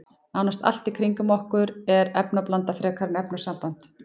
Nánast allt í kringum okkur er efnablanda frekar en efnasamband.